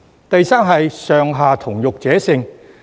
第三，是"上下同欲者勝"。